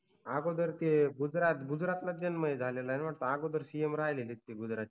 अगोदर ते गुजरातलाच जन्म झालेलाय ना वाटत अगोदर CM राहीलेत ते गुजरातचे